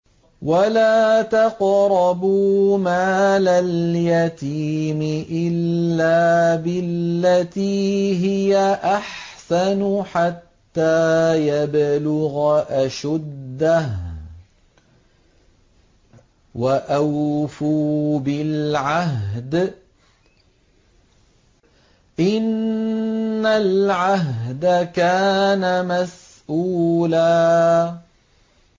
وَلَا تَقْرَبُوا مَالَ الْيَتِيمِ إِلَّا بِالَّتِي هِيَ أَحْسَنُ حَتَّىٰ يَبْلُغَ أَشُدَّهُ ۚ وَأَوْفُوا بِالْعَهْدِ ۖ إِنَّ الْعَهْدَ كَانَ مَسْئُولًا